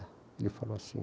Ele falou assim.